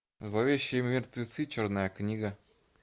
зловещие мертвецы черная книга